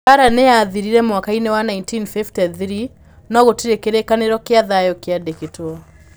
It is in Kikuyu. Mbaara nĩ yaathirire mwaka-inĩ wa 1953, no gũtirĩ kĩrĩkanĩro kĩa thayũ kĩandĩkĩtwo.